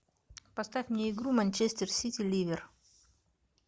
поставь мне игру манчестер сити ливер